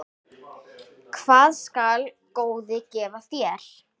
Hvað skal góði gefa þér?